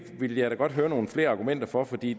ville jeg da godt høre nogle flere argumenter for for det